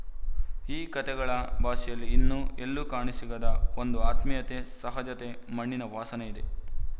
ಈ ಕತೆಗಳ ಭಾಷೆಯಲ್ಲಿ ಇನ್ನು ಎಲ್ಲೂ ಕಾಣಸಿಗದ ಒಂದು ಆತ್ಮೀಯತೆ ಸಹಜತೆ ಮಣ್ಣಿನ ವಾಸನೆ ಇದೆ